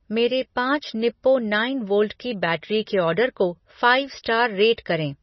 मेरे पाँच Nippo nine volt की बैटरी के ऑर्डर को फ़ाइव स्टार रेट करें।